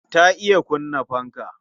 Ta iya kunna fanka.